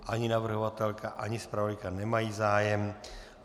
Ani navrhovatelka ani zpravodajka nemají zájem.